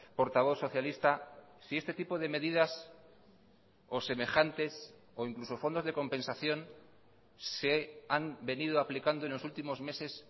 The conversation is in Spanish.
portavoz socialista si este tipo de medidas o semejantes o incluso fondos de compensación se han venido aplicando en los últimos meses